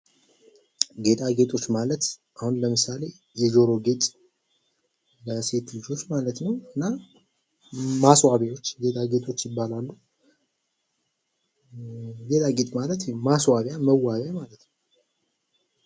ጌጣጌጦች ማለት አሁን ለምሳሌ የጆሮ ጌጥ በሴት ልጆች ማለት ነው፣ እና ማስዋቢያዎች ጌጣጌጦች ይባላሉ። ጌጣጌጥ ማለት ማስዋቢያ መዋቢያ ማለት ነው።